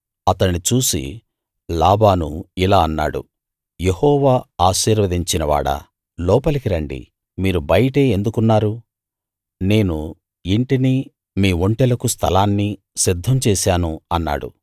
అతణ్ణి చూసి లాబాను ఇలా అన్నాడు యెహోవా ఆశీర్వదించిన వాడా లోపలికి రండి మీరు బయటే ఎందుకున్నారు నేను ఇంటినీ మీ ఒంటెలకు స్థలాన్నీ సిద్ధం చేశాను అన్నాడు